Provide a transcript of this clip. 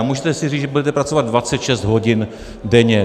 A můžete si říct, že budete pracovat 26 hodin denně.